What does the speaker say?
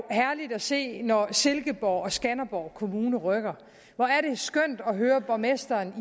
herligt at se når silkeborg og skanderborg kommuner rykker hvor er det skønt at høre borgmesteren